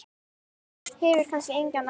Hefur kannski engan áhuga.